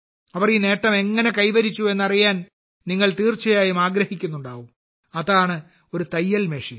അവർ ഈ നേട്ടം എങ്ങനെ കൈവരിച്ചു എന്ന് അറിയാൻ നിങ്ങൾ തീർച്ചയായും ആഗ്രഹിക്കുന്നുണ്ടാവും അതാണ് ഒരു തയ്യൽ മെഷീൻ